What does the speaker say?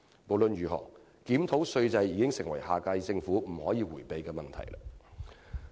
無論如何，檢討稅制已成為下屆政府不能迴避的問題。